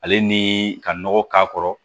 Ale ni ka nɔgɔ k'a kɔrɔ